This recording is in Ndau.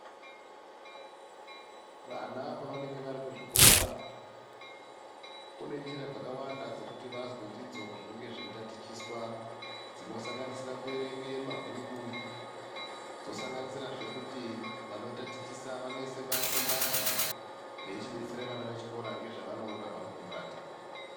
Vana pavanenge varikuzvikora kunenjira dzakawanda dzekuti vanzwa ndidzo zvinenge zveitatichiswa zvinosanganisira kuwerenge mabhuku dzosanganisirazve kuti vanotatichisa vanoisa parikumbati veichidetsera vana vechikora ngezvavanoona parukumbati.